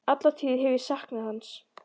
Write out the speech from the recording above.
Alla tíð hef ég saknað hans.